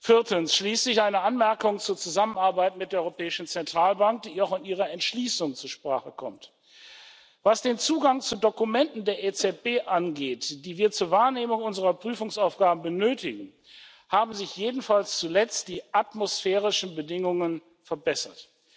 Viertens schließlich eine Anmerkung zur Zusammenarbeit mit der Europäischen Zentralbank, die auch in Ihrer Entschließung zur Sprache kommt Was den Zugang zu Dokumenten der EZB, die wir zur Wahrnehmung unserer Prüfungsaufgaben benötigen, angeht, haben sich jedenfalls zuletzt die atmosphärischen Bedingungen verbessert.